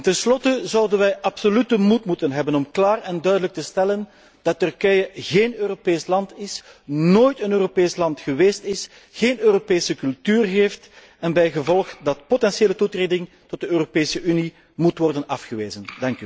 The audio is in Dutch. Tenslotte zouden we absoluut de moed moeten hebben om klaar en duidelijk te stellen dat Turkije geen Europees land is, nooit een Europees land geweest is, geen Europese cultuur heeft en dat bijgevolg potentiële toetreding tot de Europese Unie moet worden afgewezen.